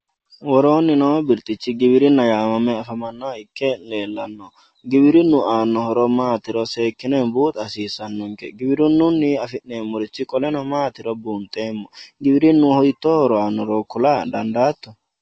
worooni noo birxichi giwirinna yaamame afamanoha ikke leellanno giwirinnu aanno horo maatiro seekine buuxa hasiissanonke giwrinunni afi'neemorichi qoleno maatiro buunxeemo giwirinnu hitoo horo aanoro kula dandaato